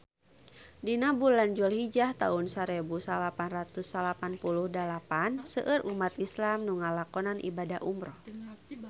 Dina bulan Julhijah taun sarebu salapan ratus salapan puluh dalapan seueur umat islam nu ngalakonan ibadah umrah